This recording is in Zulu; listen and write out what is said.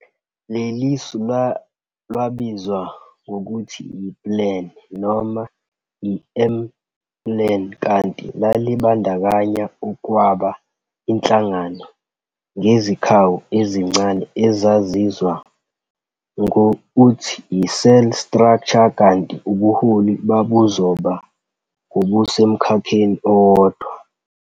Lelisu lwabizwa ngokuthi yi-Plan, noma iM-Plan, kanti lalibandakanya ukwaba inhlangano ngezikhawu ezincane ezazizwa ngouthi yi- cell structure kanti ubuholi babuzoba ngobusemkhakheni owodwa.